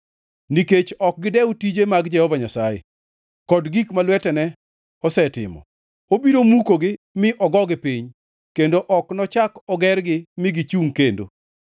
Nikech ok gidew tije mag Jehova Nyasaye kod gik ma lwetene osetimo, obiro mukogi mi ogogi piny kendo ok nochak ogergi mi gichungʼ kendo.